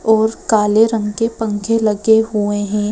और काले रंग के पंखे लगे हुए हैं।